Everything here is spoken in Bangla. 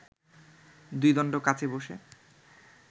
দুই দণ্ড কাচে বসে